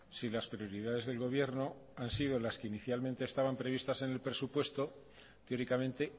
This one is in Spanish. si las prioridades del gobierno han sido las que inicialmente estaban previstas en el presupuesto teóricamente